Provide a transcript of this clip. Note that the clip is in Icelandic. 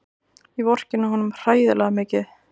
Ég vorkenni honum hræðilega mikið.